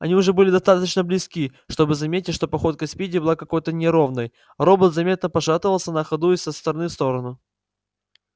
они уже были достаточно близки чтобы заметить что походка спиди была какой-то неровной робот заметно пошатывался на ходу из стороны в сторону